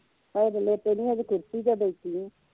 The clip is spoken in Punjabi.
ਹਜੇ ਤੇ ਲੇਟੇ ਨਹੀਂ ਹਜੇ ਕੁਰਸੀ ਤੇ ਬੈਠੀ ਆ।